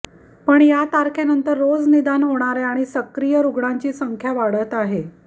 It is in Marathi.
पण या तारखेनंतर रोज निदान होणाऱ्या आणि सक्रीय रुग्णांची संख्या वाढत आहे